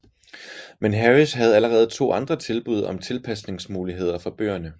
Men Harris havde allerede to andre tilbud om tilpasnings muligheder for bøgerne